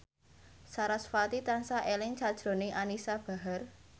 sarasvati tansah eling sakjroning Anisa Bahar